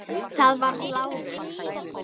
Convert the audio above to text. Það var Lárus.